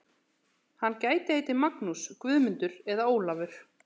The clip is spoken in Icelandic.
Hann gæti heitið Magnús, Guðmundur eða Ólafur.